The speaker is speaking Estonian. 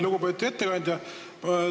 Lugupeetud ettekandja!